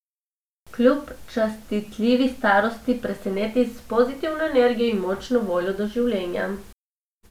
Kljub častitljivi starosti preseneti s pozitivno energijo in močno voljo do življenja.